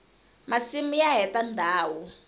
masimu ya heta ndhawu